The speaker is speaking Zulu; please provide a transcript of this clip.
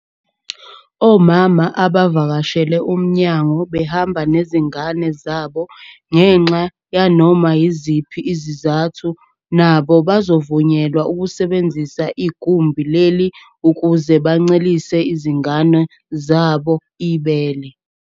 Omama abavakashela umnyango behamba nezingane zabo ngenxa yanoma yiziphi izizathu nabo bazovunyelwa ukusebenzisa igumbi leli ukuze bancelise izingane zabo ibele.